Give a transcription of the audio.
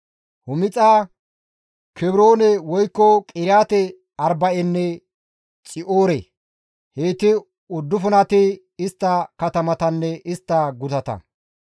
Humixa, Kebroone woykko Qiriyaate-Arba7enne Xi7oore; heyti uddufunati istta katamatanne istta gutata.